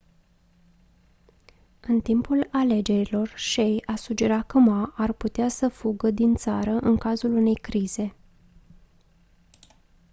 în timpul alegerilor hsieh a sugerat că ma ar putea să fugă din țară în cazul unei crize